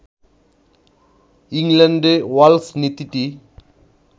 ইংল্যান্ডে ওয়ালস নীতিটি